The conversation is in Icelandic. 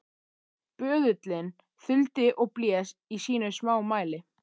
Böðullinn þuldi og blés í sínu smámæli: